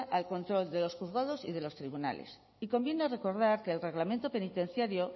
al control de los juzgados y de los tribunales y conviene recordar que el reglamento penitenciario